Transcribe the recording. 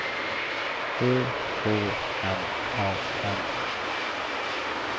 Ö H M A N